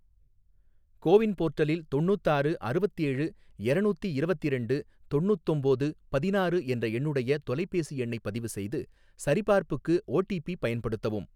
CoWIN போர்ட்டலில் தொண்ணூத்தாறு அறுவத்தேழு எரநூத்தி இரவத்திரெண்டு தொண்ணூத்தொம்போது பதினாறு என்ற என்னுடைய தொலைபேசி எண்ணைப் பதிவு செய்து, சரிபார்ப்புக்கு ஓடிபி பயன்படுத்தவும்.